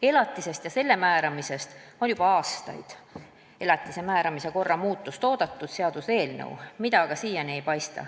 Elatise määramise korra muutmise seaduse eelnõu on juba aastaid oodatud, seda aga siiani ei paista.